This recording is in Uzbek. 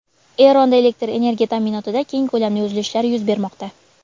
Eronda elektr energiya ta’minotida keng ko‘lamli uzilishlar yuz bermoqda.